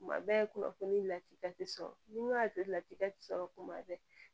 Kuma bɛɛ kunnafoni latikɛ sɔrɔ n'i ko y'a to latika tɛ sɔrɔ kuma bɛɛ